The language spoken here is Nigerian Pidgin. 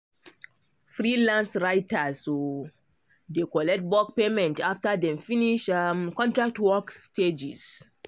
freelance writers um dey collect bulk payment after dem finish um contract work stages.